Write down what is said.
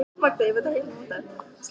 Hugrún: Haldið þið að við getum unnið?